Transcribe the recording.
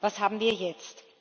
Was haben wir jetzt?